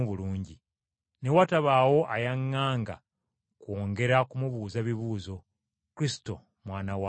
Ne watabaawo ayaŋŋanga kwongera kumubuuza bibuuzo birala.